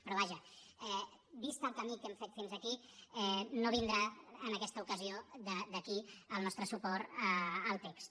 però vaja vist el camí que hem fet fins aquí no vindrà en aquesta ocasió d’aquí el nostre suport al text